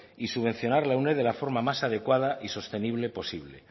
y subvencionar la uned de la forma más adecuada y sostenible posible